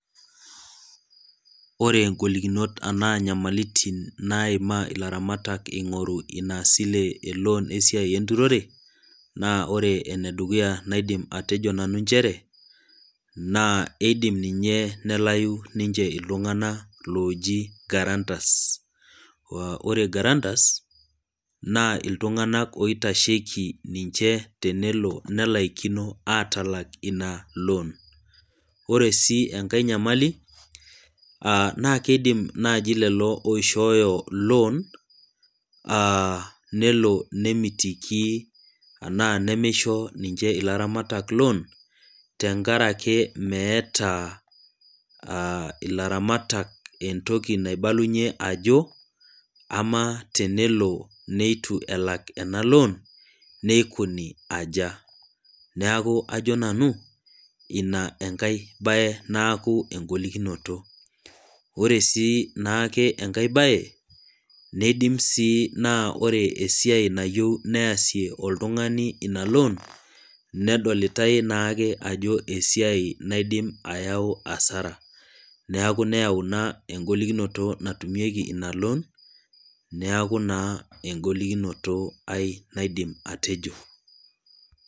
Ore ingolokinot ena nyamalitin naima ilaramatak eingoru isilen eloon esiai enturore, naa ore enedukuya naaidim ateejo nanu nchere ,naa eidim ninche nelau iltunganak looji garantas. ore garantas na iltunganak oitasheki ninche tenelo nelaikino atalaak ina loon. ore enkae nyamali ,naa keidim naaji lelo oishoyo loon nemitiki enaa nemeisho ninche ilaramatak loon tenkaraki meeta ilaramatak entoki naibalunyie ajo ,amaa tenelo neitu elak ena loon neikoni aja. neeku ajo nanu ina enkae bae naaku engolikinoto. ore sii enkae bae neidim sii naa ore esiai nayieu ilotungani neesie ina loon nedolitae naake ajo esiai naidim ayau asara, neeku nayau ina engolikinoto natumieki ina loon, neeku naa engolikinoto aye naidim atejo.